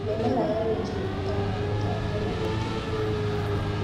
Mĩmera ya minji ĩbataraga gũtambio na mĩtĩ.